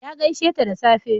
Ya gaisheta da safe.